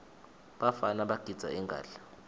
bafana bagidza ingadla